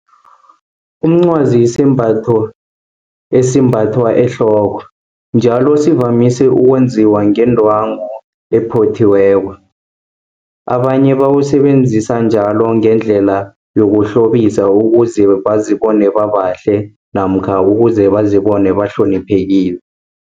Umncwazi yisimbatho, esimbathwa ehloko, njalo sivamise ukwenziwa ngendwangu ephothiweko. Abanye bawusebenzisa njalo ngendlela yokuhlobisa, ukuze bazibona babahle, namkha ukuze bazibone bahloniphekile.